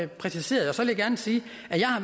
præciseret så vil gerne sige